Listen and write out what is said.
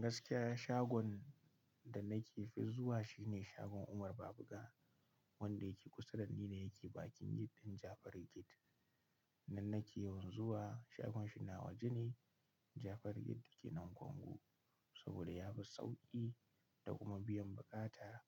Gaskiya shagon da nake fi zuwa shine shagon Umar Babuga, wanda yake kusa da ni ne yake bakin gefen Jafari Gate. Nan nake yanzu wa shagon shi na waje ne. Jafari Get yake nan Congo saboda ya fi sauƙi da kuma biyan bukata